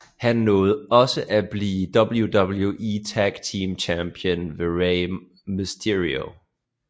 Han nåede også at blive WWE Tag Team Champion med Rey mysterio